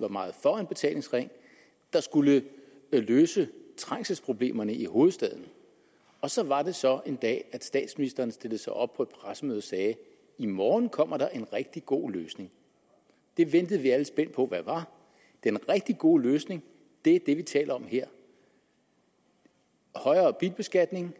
var meget for en betalingsring der skulle løse trængselsproblemerne i hovedstaden og så var det så en dag at statsministeren stillede sig op på et pressemøde og sagde i morgen kommer der en rigtig god løsning den ventede vi alle er spændt på hvad var den rigtig gode løsning er det vi taler om her højere bilbeskatning